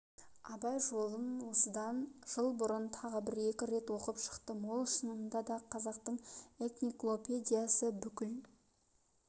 абай жолын осыдан жыл бұрын тағы бір-екі рет оқып шықтым ол шынында да қазақтың экниклопедиясы бүкіл